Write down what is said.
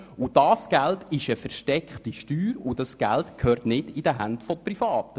Dieses Geld ist eine versteckte Steuer und gehört nicht in die Hände von Privaten.